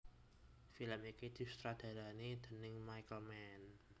Film iki disutradarani déning Michael Mann